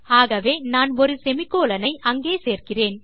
ஆகவே நான் ஒரு செமிகோலன் ஐ அங்கே சேர்க்கிறேன்